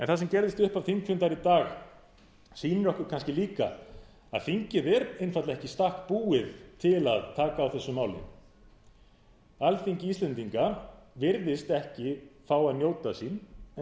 það sem gerðist við upphaf þingfundar í dag sýnir okkur kannski líka að þingið er einfaldlega ekki í stakk búið til að taka á þessu máli alþingi íslendinga virðist ekki fá að njóta sín